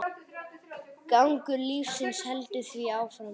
Gangur lífsins heldur því áfram.